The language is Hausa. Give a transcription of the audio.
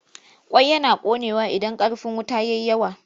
Ƙwai yana ƙonewa idan ƙarfin wuta ya yi yawa.